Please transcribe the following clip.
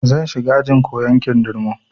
Zan shiga ajin koyan kindirmo